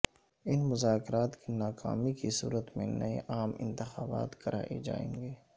ان مذاکرات کی ناکامی کی صورت میں نئے عام انتخابات کرائے جائیں گے